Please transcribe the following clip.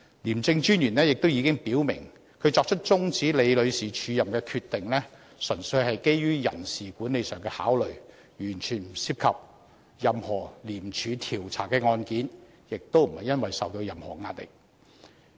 廉政專員亦已表明，他作出終止李女士署任的決定，"純粹基於人事管理上的考慮，完全不涉及廉署調查的案件，亦不是因為受到任何壓力"。